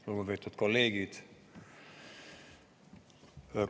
Lugupeetud kolleegid!